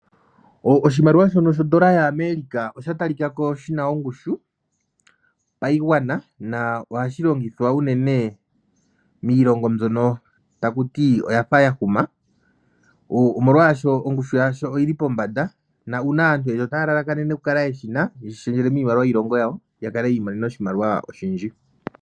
Oshimaliwa shono shondola yaAmerica osha talikako shina ongushu paigwana. Ohashi longithwa unene miilongo mbyono yafa yahuma molwaashono ongushu yasho oyili pombanda naantu oyendji otaya lalakanene ya kale yeshina tayeshi shendjele miimaliwa yiilongo yawo ya kale yi imonena iimaliwa oyindji.